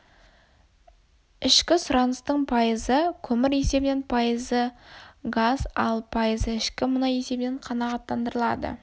ішкі сұраныстың пайызы көмір есебінен пайызы газ ал пайызы шикі мұнай есебінен қанағаттандырылады